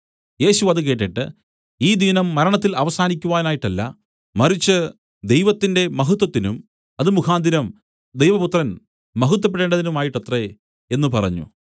യേശു അത് കേട്ടിട്ട് ഈ ദീനം മരണത്തിൽ അവസാനിക്കുവാനായിട്ടല്ല മറിച്ച് ദൈവത്തിന്റെ മഹത്വത്തിനും അത് മുഖാന്തരം ദൈവപുത്രൻ മഹത്വപ്പെടേണ്ടതിനുമായിട്ടത്രേ എന്നു പറഞ്ഞു